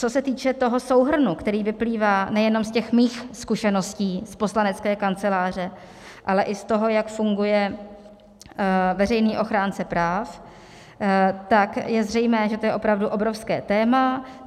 Co se týče toho souhrnu, který vyplývá nejenom z těch mých zkušeností z poslanecké kanceláře, ale i z toho, jak funguje veřejný ochránce práv, tak je zřejmé, že to je opravdu obrovské téma.